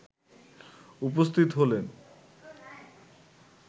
উপস্থিত হলেন